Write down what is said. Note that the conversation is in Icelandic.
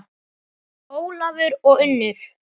Ólafur og Unnur.